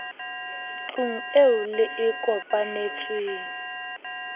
tlung eo le e kopanetsweng